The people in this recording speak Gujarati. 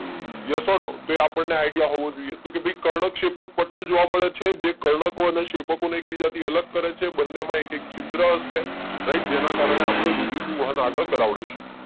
યસ ઔર નો તો એ આપણને આઈડિયા હોવો જોઈએ તો કે ભાઈ કર્ણકશેપકપટલ જોવા મળે છે જે કર્ણકો અને શેપકો ને એકબીજાથી અલગ કરે છે બંને માં એકે છિદ્ર હશે રાઈટ જેના કરને આપણે રુધિર નું વાહન આગળ કરાવીશું